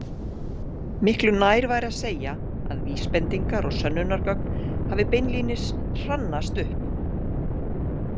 Miklu nær væri að segja að vísbendingar og sönnunargögn hafi beinlínis hrannast upp.